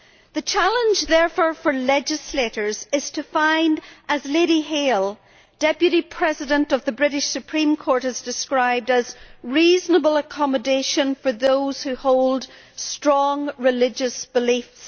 The challenge therefore for legislators is to find, as Lady Hale, Deputy President of the British Supreme Court, has described it, a reasonable accommodation for those who hold strong religious beliefs.